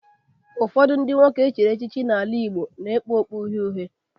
Ụfọdụ ndị nwoke echiri echichi n'ala Igbo na-ekpu okpu uhie uhie